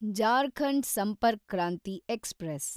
Jharkhand Sampark Kranti express